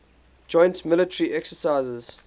joint military exercises